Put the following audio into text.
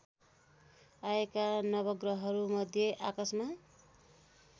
आएका नवग्रहहरूमध्ये आकाशमा